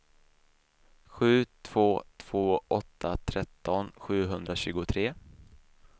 sju två två åtta tretton sjuhundratjugotre